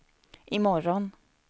imorgon